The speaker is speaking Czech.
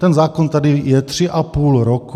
Ten zákon tady je tři a půl roku.